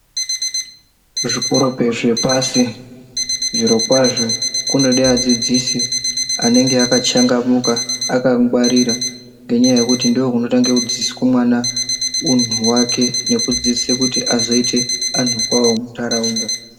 Zvikora zvepashi zviro kwazvo kunode vadzidzisi anenge akachangamuka akangwaririka ngenda yekuti ndokunotangira dziiswa mwana munhu wake kuti azoita munhu kwaye mundaraunda.